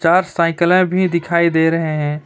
चार साइकिलें भी दिखाई दे रहे हैं।